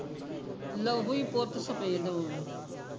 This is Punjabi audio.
ਲਹੂ ਹੀਂ ਪੁੱਤ ਸਫੇਦ ਹੋ ਗਿਆ